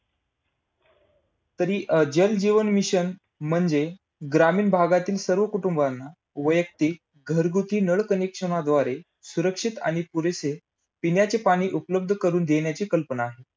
अनु शक्तीच्या निर्मितीसाठी आवश्यक असणाऱ्या जड पाण्याचे कारखान्याचे वाळू, धरा, तालाचेर, तुथी कोरणी कोटा इत्यादी ठिकाणी उभारले आहेत.